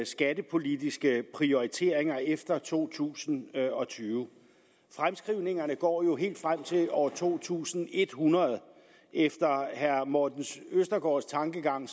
skattepolitiske prioriteringer efter to tusind og tyve fremskrivningerne går helt frem til år to tusind en hundrede og efter herre morten østergaards tankegang